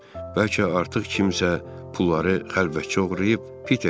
Bəlkə artıq kimsə pulları xəlvətcə oğurlayıb.